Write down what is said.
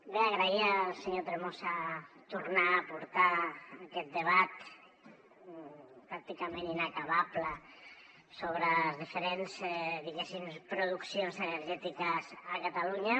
bé agrair al senyor tremosa tornar a portar aquest debat pràcticament inacabable sobre les diferents diguéssim produccions energètiques a catalunya